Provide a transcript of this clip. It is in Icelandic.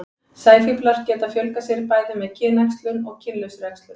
sæfíflar geta fjölgað sér bæði með kynæxlun og kynlausri æxlun